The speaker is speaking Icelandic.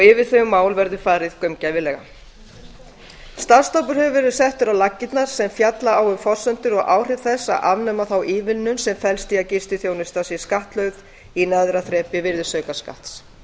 yfir þau mál verði farið gaumgæfilega starfshópur hefur verið settur á laggirnar sem fjalla á um forsendur og áhrif þess að afnema þá ívilnun sem felst í að gistiþjónusta sé skattlögð í neðra þrepi virðisaukaskatts